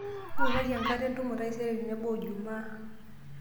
engoruaki enkata entumo taisere tenebo o juma